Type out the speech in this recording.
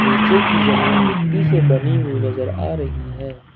नीचे की जमीन मिट्टी से बनी हुई नजर आ रही है।